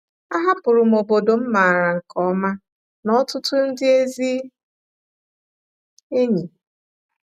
Ahapụrụ m obodo m maara nke ọma na ọtụtụ ndị ezi enyi.